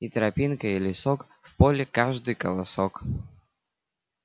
и тропинка и лесок в поле каждый колосок